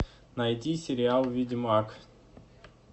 найди сериал ведьмак